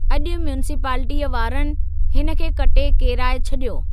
अॼु म्युनिसिपलिटीअ वारनि हिन खे कटे केराए छॾियो!